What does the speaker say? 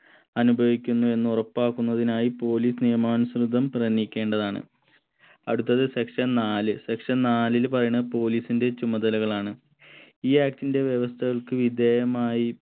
അനുഭവിക്കുന്നു എന്ന് ഉറപ്പാക്കുന്നതിനായി police നിയമാനുസൃതം പ്രയത്നിക്കേണ്ടതാണ് അടുത്തത് section നാല് section നാലിൽ പറയണത് police ന്റെ ചുമതലകളാണ് ഈ act ന്റെ വ്യവസ്ഥകൾക്ക് വിധേയമായി